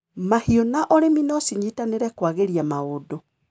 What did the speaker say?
Mahiũ na ũrĩmi nocinyitanĩre kwagĩria maũndu.